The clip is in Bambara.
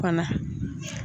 fana.